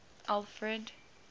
alfred